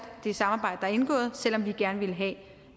det samarbejde der er indgået selv om vi gerne ville have